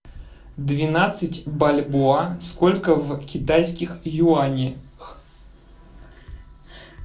двенадцать бальбоа сколько в китайских юанях